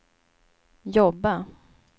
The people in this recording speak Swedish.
jobba